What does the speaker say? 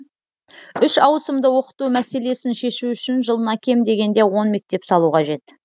үш ауысымды оқыту мәселесін шешу үшін жылына кем дегенде он мектеп салу қажет